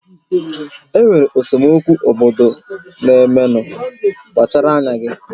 Enwere esemokwu obodo na-emenu, kpachara anya